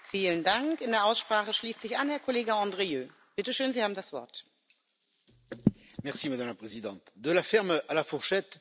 Madame la Présidente, de la ferme à la fourchette, on doit raisonner avec des circuits courts, des exploitations familiales, des exploitations à taille humaine.